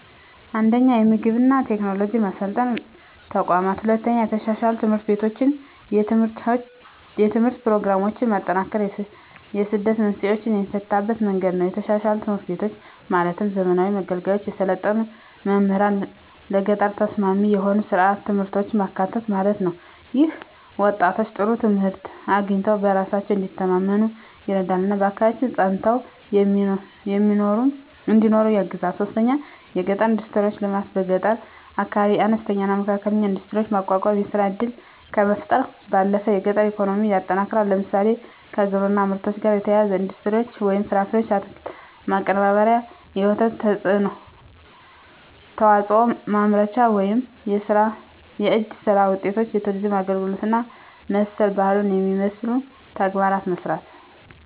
1. የግብርና ቴክኖሎጂ ማሰልጠኛ ተቋማት 2. የተሻሻሉ ትምህርት ቤቶችና የትምህርት ፕሮግራሞች ማጠናከር የስደት መንስኤን የሚፈታበት መንገድ ነው የተሻሻሉ ትምህርት ቤቶች ማለትም ዘመናዊ መገልገያዎች፣ የሰለጠኑ መምህራንና ለገጠር ተስማሚ የሆኑ ሥርዓተ ትምህርቶች ማካተት ማለት ነው። ይህም ወጣቶች ጥሩ ትምህርት አግኝተው በራሳቸው እንዲተማመኑ ይረዳልና በአካባቢያቸው ፀንተው እንዲኖሩ ያግዛል 3. የገጠር ኢንዱስትሪዎች ልማት በገጠር አካባቢዎች አነስተኛና መካከለኛ ኢንዱስትሪዎችን ማቋቋም የሥራ ዕድልን ከመፍጠር ባለፈ የገጠር ኢኮኖሚን ያጠናክራል። ለምሳሌ፣ ከግብርና ምርቶች ጋር የተያያዙ ኢንዱስትሪዎች (ፍራፍሬና አትክልት ማቀነባበሪያ፣ የወተት ተዋጽኦ ማምረቻ)፣ የእጅ ሥራ ውጤቶች፣ የቱሪዝም አገልግሎት እና መሠል ባህሉን የመሠሉ ተግባራትን መሥራት